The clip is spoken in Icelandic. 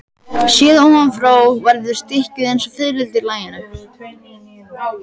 Séð ofan frá verður stykkið eins og fiðrildi í laginu.